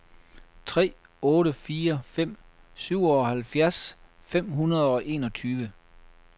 tre otte fire fem syvoghalvfjerds fem hundrede og enogtyve